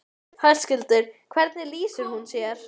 Höskuldur: Hvernig lýsir hún sér?